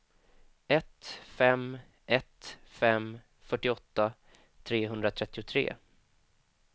ett fem ett fem fyrtioåtta trehundratrettiotre